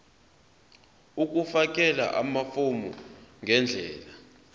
ukufakela amafomu ngendlela